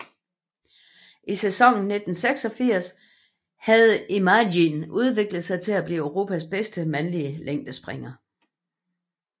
I sæsonen 1986 hadde Emmijan udviklet sig til at blive Europas bedste mandlige længdespringer